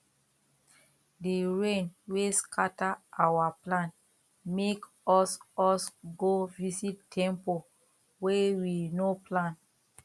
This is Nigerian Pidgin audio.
the rain wey scatter our plan make us us go visit temple wey we no plan